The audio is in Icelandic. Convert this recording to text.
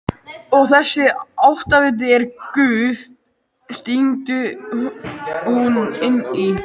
Og þessi áttaviti er Guð, stingur hún inn í.